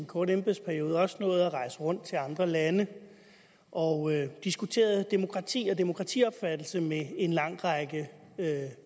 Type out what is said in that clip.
korte embedsperiode også nået at rejse rundt til andre lande og diskuteret demokrati og demokratiopfattelse med en lang række